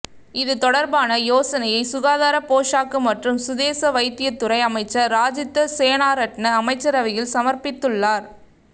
இது தொடர்பான யோசனையை சுகாதார போஷாக்கு மற்றும் சுதேச வைத்திய துறை அமைச்சர் ராஜித்த சேனாரட்ன அமைச்சரவையில் சமர்ப்பித்துள்ளார்